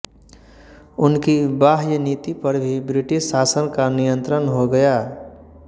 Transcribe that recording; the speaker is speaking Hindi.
उनकी बाह्य नीति पर भी ब्रिटिश शासन का नियन्त्रण हो गया